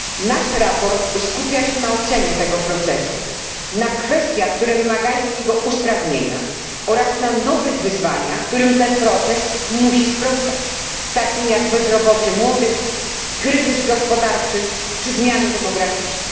Nasze sprawozdanie skupia się na ocenie tego procesu, na kwestiach, które wymagają jego usprawnienia, oraz na nowych wyzwaniach, którym ten proces musi sprostać takim jak bezrobocie młodych, kryzys gospodarczy czy zmiany demograficzne.